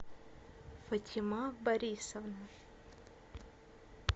фатима борисовна